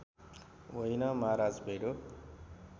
होइन महाराज भेडो